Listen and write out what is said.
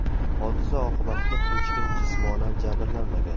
Hodisa oqibatida hech kim jismonan jabrlanmagan.